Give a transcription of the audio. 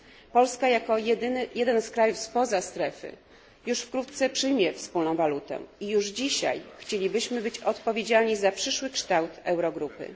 Polska jako jeden z krajów spoza strefy już wkrótce przyjmie wspólną walutę i już dzisiaj chcielibyśmy być odpowiedzialni za przyszły kształt Eurogrupy.